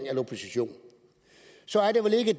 i opposition